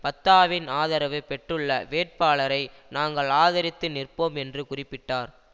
பத்தாவின் ஆதரவு பெற்றுள்ள வேட்பாளரை நாங்கள் ஆதரித்து நிற்போம் என்று குறிப்பிட்டார்